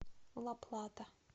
ла плата